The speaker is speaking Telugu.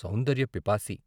సౌందర్య పిపాసి....